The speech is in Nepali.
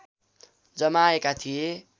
जमाएका थिए